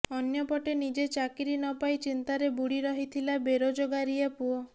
ଅନ୍ୟପଟେ ନିଜେ ଚାକିରୀ ନ ପାଇ ଚିନ୍ତାରେ ବୁଡି ରହିଥିଲା ବେରୋଜଗାରିଆ ପୁଅ